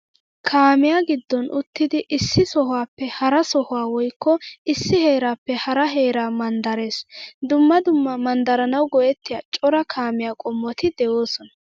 Kaamiyaa giddon uttidi issi sohuwaappe hara sohuwaa woykko issi heeraappe hara heeraa manddarees. Dumma dumma manddaranawu go'ettiyo cora kaamiyaa qommoti de"oosona.